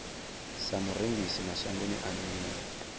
sa murengisi mashangoni a nnḓa